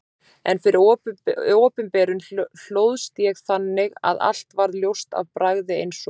En fyrir opinberun hlóðst ég þannig að allt varð ljóst af bragði eins og